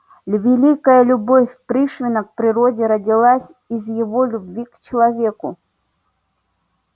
великая любовь пришвина к природе родилась из его любви к человеку